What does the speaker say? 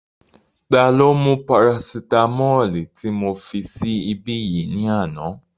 Ta ló mú parasitamọ́ọ̀lì tí mo fi sí ibí yìí ní àná?